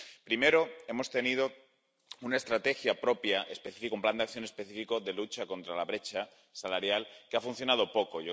Primero, hemos tenido una estrategia propia específica, un plan de acción específico de lucha contra la brecha salarial, que ha funcionado poco.